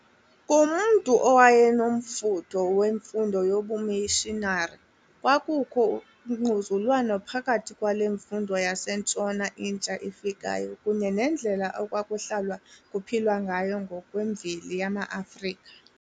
Kumntu owayenomfutho wemfundo yobumishinari, kwakukho ungquzulwano phakathi kwale mfundo yaseNtshona intsha ifikayo kunye nendlela ekwakuhlalwa kuphilwa ngayo ngokwemveli yamaAfrika.